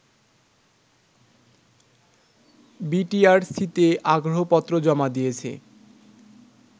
বিটিআরসিতে আগ্রহপত্র জমা দিয়েছে